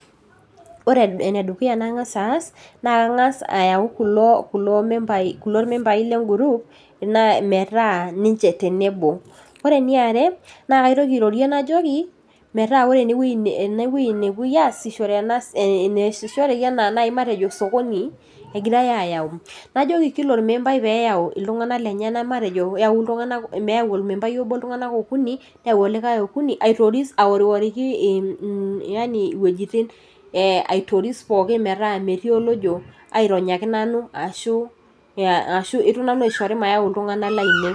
Ore enedukuya nangas aas naa kangas ayau kulo, kulo , kulo membai legroup na metaa ninche tenebo . Ore eniare naa kaitoki airorie najoki metaa ore enewui , enewuei nepuoi aasishore , enaasishoreki matejo nai anaa osokoni egirae ayau , najoki kila ormembai peyau iltunganak lenyenak, matejo meyau iltunganak lenyenak , neyau ormembai obo iltunganak okuni , neyau olikae okuni, aitoris aoriworiki mm yani iwuejitin aitoris pookin metaa metii olojo aironyaki nanu , ashu , ashu ito nanu aishori mayau iltunganak lainei.